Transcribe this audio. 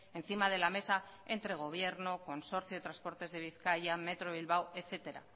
encima de la mesa entre gobierno consorcio de transporte de bizkaia metro bilbao etcétera